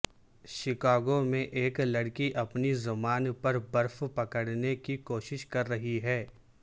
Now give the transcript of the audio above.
Chicago میں ایک لڑکی اپنی زبان پر برف پکڑنے کی کوشش کر رہی ہے